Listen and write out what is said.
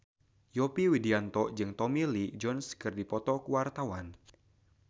Yovie Widianto jeung Tommy Lee Jones keur dipoto ku wartawan